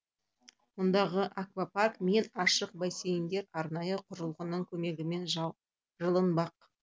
мұндағы аквапарк пен ашық бассейндер арнайы құрылғының көмегімен жылынбақ